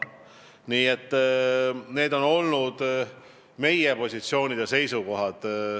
Nii et sellised on olnud meie positsioonid ja seisukohad.